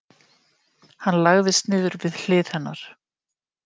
Hann lagðist niður við hlið hennar.